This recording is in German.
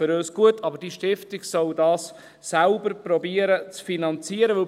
für uns ist das gut, aber diese Stiftung soll das selbst zu finanzieren versuchen.